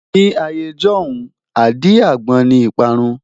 Ní ayé ijọ́hun, àdí-àgbon ni ìparun.